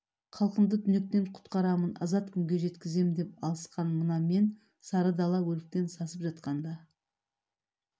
халқымды түнектен құтқарамын азат күнге жеткңзем деп алысқан мына мен сары дала өліктен сасып жатқанда